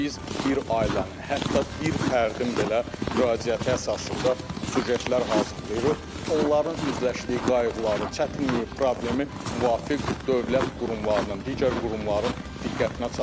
Biz bir ailənin, hətta bir fərdin belə müraciəti əsasında süjetlər hazırlayırıq, onların üzləşdiyi qayğıları, çətinliyi, problemi müvafiq dövlət qurumlarının, digər qurumların diqqətinə çatdırırıq.